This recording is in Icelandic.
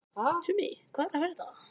Tumi, hvað er að frétta?